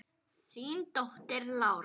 Þín dóttir, Lára.